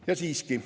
Ja siiski.